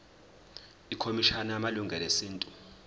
ikhomishana yamalungelo esintu